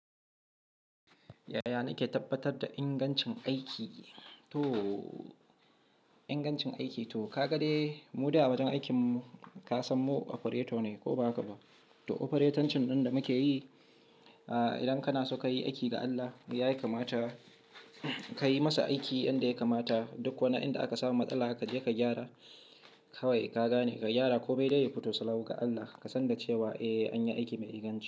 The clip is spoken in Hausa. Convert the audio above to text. Yaya nake tabbatar da ingancin aiki? To ka ga dai mu da a wajen aikin ka san mu operator ne ko ba haka ba? To operatorcin ɗin da muke yi, idan kana so ka yi aiki da Allah, ya kamata ka yi masa aiki inda ya kamata. Duk wani inda aka samu matsala haka, je ka gyara. Kawaikai, ka gane ka gyara ko mai dai ya fito, sallau ga Allah, ka san cewa eh an yi aiki mai inganci.